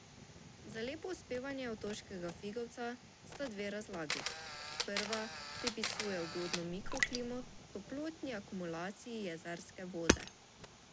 Za lepo uspevanje otoškega figovca sta dve razlagi: "Prva pripisuje ugodno mikroklimo toplotni akumulaciji jezerske vode.